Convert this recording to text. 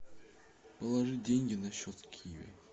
положи деньги на счет киви